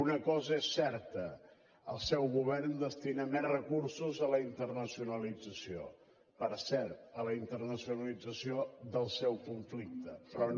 una cosa és certa el seu govern destina més recursos a la internacionalització per cert a la internacionalització del seu conflicte però no